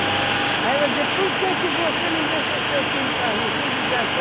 Aí ela dizia, por que que você não deixa seu filho ir para a rua com